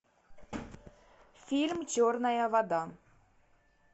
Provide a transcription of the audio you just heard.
фильм черная вода